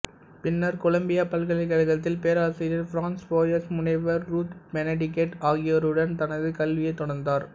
பின்னர் கொலம்பியா பல்கலைக்கழகத்தில் பேராசிரியர் பிரான்ஸ் போயஸ் முனைவர் ரூத் பெனெடிக்ட் ஆகியோரிருடன் தனது கல்வியைத் தொடர்ந்தார்